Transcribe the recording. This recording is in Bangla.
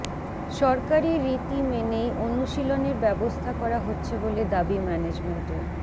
সরকারি রীতি মেনেই অনুশীলনের ব্যবস্থা করা হচ্ছে বলে দাবি ম্যানেজমেন্টের